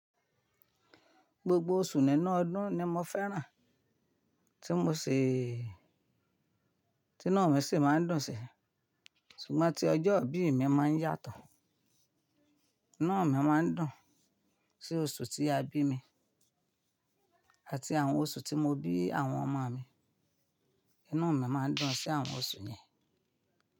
Gbogbo oṣù nínú ọdún ni mo fẹ́ràn, tí mo ṣè, tí inu mi ṣì máa ń dùn sí, ṣùgbọ́n tí ọjọ́ ìbí mi máa ń yàtọ̀. Iná mi máa ń dùn sí oṣù tí a bí mi àti àwọn oṣù tí mo bí àwọn ọmọ mi. Inu mi máa ń dùn sí àwọn oṣù yẹn.